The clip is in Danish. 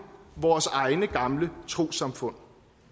vores egne gamle trossamfund